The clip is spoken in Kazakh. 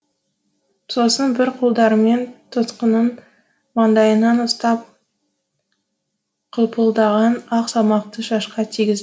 сосын бір қолдарымен тұтқынның маңдайынан ұстап қылпылдаған ақ шашқа тигізді